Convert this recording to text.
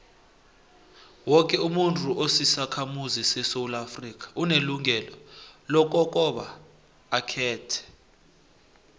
woke umuntu osisakhamuzi sesewula afrika unelungelo lokobaba akhethe